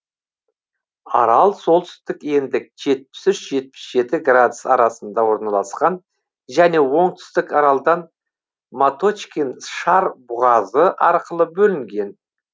арал солтүстік ендік жетпіс үш жетпс жеті градус арасында орналасқан және оңтүстік аралдан маточкин шар бұғазы арқылы бөлінген